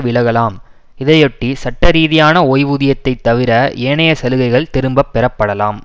விலகலாம் இதையொட்டி சட்டரீதியான ஓய்வூதியத்தை தவிர ஏனைய சலுகைகள் திரும்பப்பெறப்படலாம்